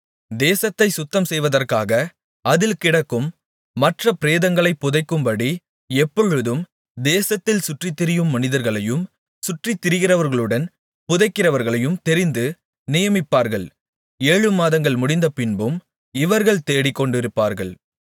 தேசத்தைச் சுத்தம்செய்வதற்காக அதில் கிடக்கும் மற்ற பிரேதங்களைப் புதைக்கும்படி எப்பொழுதும் தேசத்தில் சுற்றித்திரியும் மனிதர்களையும் சுற்றித்திரிகிறவர்களுடன் புதைக்கிறவர்களையும் தெரிந்து நியமிப்பார்கள் ஏழு மாதங்கள் முடிந்தபின்பும் இவர்கள் தேடிக்கொண்டிருப்பார்கள்